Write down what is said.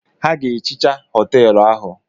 Ha ga-ehicha họtelụ ahụ.